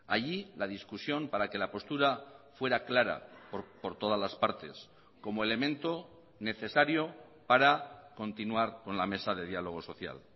allí la discusión para que la postura fuera clara por todas las partes como elemento necesario para continuar con la mesa de diálogo social